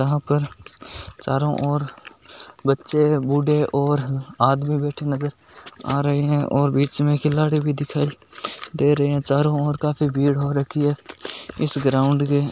यहाँ पे चारो और बच्चे आदमी बूढ़े बेठे हुए नजर आ रहे है और बिच में खिलाडी भी दिखाई दे रहे है चारो और काफी भीड़ हो राखी है इश ग्राउंड में--